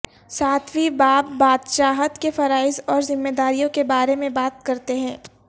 ساتویں باب بادشاہت کے فرائض اور ذمہ داریوں کے بارے میں بات کرتے ہیں